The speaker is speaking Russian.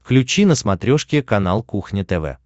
включи на смотрешке канал кухня тв